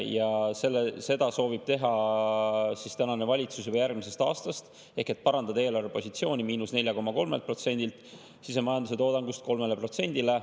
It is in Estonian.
Ja seda soovib teha tänane valitsus juba järgmisest aastast ehk parandada eelarvepositsiooni –4,3%‑lt sisemajanduse toodangust 3%‑le.